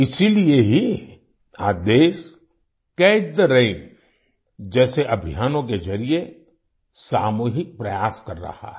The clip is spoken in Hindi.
इसीलिए ही आज देश कैच थे रैन जैसे अभियानों के जरिए सामूहिक प्रयास कर रहा है